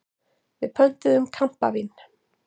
Við pöntuðum kampavín.